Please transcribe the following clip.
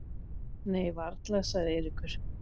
Nei varla sagði Eiríkur.